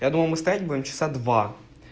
я думал мы стоять будем часа два